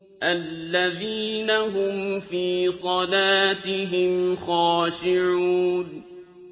الَّذِينَ هُمْ فِي صَلَاتِهِمْ خَاشِعُونَ